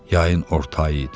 Yayın orta ayı idi.